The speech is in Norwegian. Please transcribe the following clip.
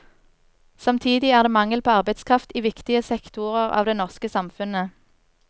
Samtidig er det mangel på arbeidskraft i viktige sektorer av det norske samfunnet.